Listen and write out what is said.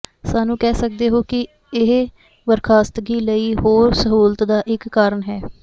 ਸਾਨੂੰ ਕਹਿ ਸਕਦੇ ਹੋ ਕਿ ਇਸ ਬਰਖਾਸਤਗੀ ਲਈ ਹੋਰ ਸਹੂਲਤ ਦਾ ਇਕ ਕਾਰਨ ਹੈ